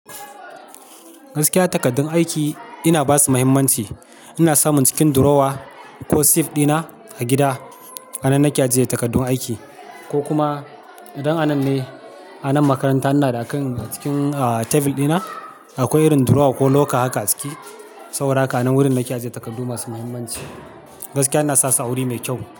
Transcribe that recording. Gaskiya takardun aiki ina basu muhimmanci. Ina samun cikin drawer ko safe dina a gida, a nan nake ajiye takardun aiki ko kuma idan anan ne a nan makaranta ina da a kan cikin, ah, table dina akwai irin drawer ko locker haka a ciki. Saboda haka nan wurin nake ajiye takardu masu muhimmanci. Gaskiya ina sa su wuri mai kyau.